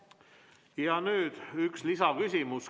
Ja nüüd üks lisaküsimus.